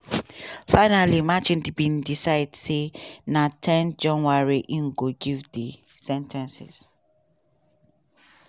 finally merchan bin decide say na ten january im go give di sen ten cing.